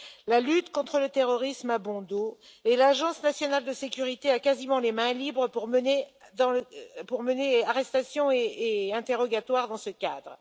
La lutte contre le terrorisme a bon dos et l'Agence nationale de sécurité a quasiment les mains libres pour mener arrestations et interrogatoires dans ce cadre.